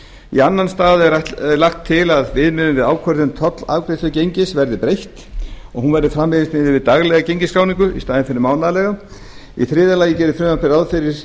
í annan stað er lagt til að viðmiðun við ákvörðun tollafgreiðslugengis verði breytt og að hún verði framvegis miðuð við daglega gengisskráningu í staðinn fyrir mánaðarlega í þriðja lagi gerir frumvarpið ráð fyrir